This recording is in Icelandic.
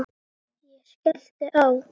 Ég skellti á.